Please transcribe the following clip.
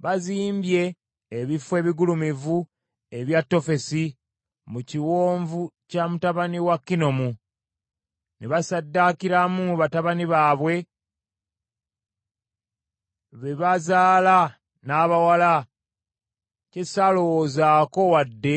Bazimbye ebifo ebigulumivu ebya Tofesi mu kiwonvu kya mutabani wa Kinomu ne bassaddaakiramu batabani baabwe be bazaala n’abawala, kye saalowoozaako wadde